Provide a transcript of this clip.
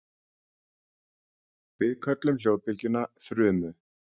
Við köllum hljóðbylgjuna þrumu.